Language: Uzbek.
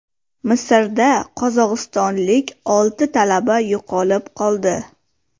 Misrda qozog‘istonlik olti talaba yo‘qolib qoldi.